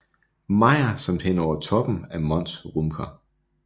Mayer samt hen over toppen af Mons Rümker